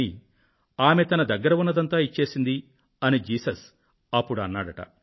కానీ ఆమె తన దగ్గర ఉన్నదంతా ఇచ్చేసింది అని జీసస్ అప్పుడు అన్నారట